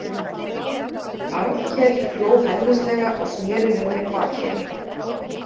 Arnkel hló hæðnislega og sneri við mér baki.